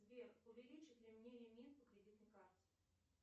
сбер увеличат ли мне лимит по кредитной карте